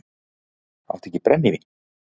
Áttu ekki brennivín?